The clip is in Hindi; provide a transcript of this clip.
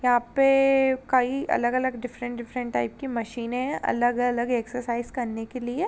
यहाँ पे कई अलग-अलग डिफरेंट-डिफरेंट टाइप के मशीने है अलग-अलग एक्सेसरीज़ करने के लिए।